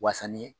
Wasa ni